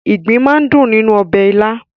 Ìgbín máa ń dùn nínú ọbẹ̀ ilá.